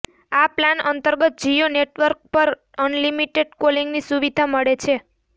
આ પ્લાન અંતર્ગત જિયો નેટવર્ક્સ પર અનલિમિટેડ કોલિંગની સુવિધા મળે છે